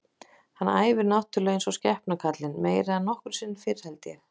Hann æfir náttúrulega eins og skepna kallinn, meira en nokkru sinni fyrr held ég.